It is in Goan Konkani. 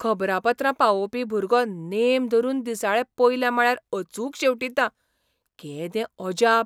खबरापत्रां पावोवपी भुरगो नेम धरून दिसाळें पयल्या माळ्यार अचूक शेंवटीता . केदें अजाप !